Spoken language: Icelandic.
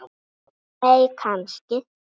nei kannski